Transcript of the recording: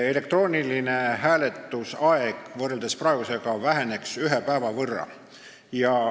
Elektrooniliselt hääletamise aeg väheneks võrreldes praegusega ühe päeva võrra.